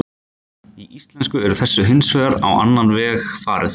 Í íslensku er þessu hins vegar á annan veg farið.